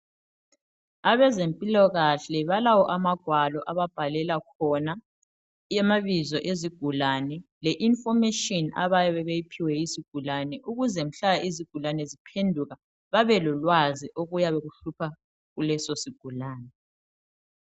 Abezempilokahle balawo amagwalo ababhalela khona amabizo ezigulane le ifomatshini abayabe beyiphiwe yizigulane ukuze mhla izigulane ziphenduka babelo lwazi okuyabe kuhlupha kulesilo sigulane.